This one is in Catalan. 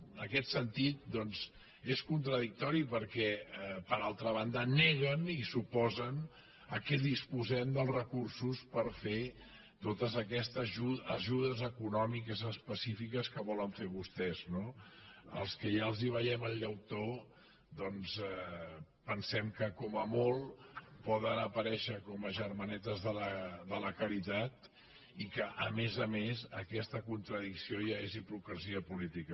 en aquest sentit doncs és contradictori per·què per altra banda neguen i s’oposen que disposem dels recursos per fer totes aquestes ajudes econòmiques específiques que volen fer vostès no els que ja els ve·iem el llautó doncs pensem que com a molt poden apa·rèixer com a germanetes de la caritat i que a més a més aquesta contradicció ja és hipocresia política